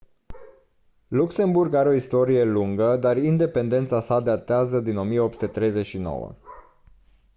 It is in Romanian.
luxemburg are o istorie lungă dar independența sa datează din 1839